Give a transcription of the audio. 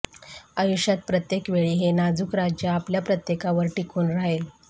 आयुष्यात प्रत्येक वेळी हे नाजूक राज्य आपल्या प्रत्येकावर टिकून राहील